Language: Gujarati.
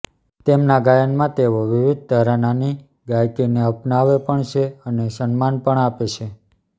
તેમના ગાયનમાં તેઓ વિવિધ ઘરાનાની ગાયકીને અપનાવે પણ છે અને સન્માન પણ આપે છે